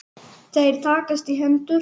Þeir takast í hendur.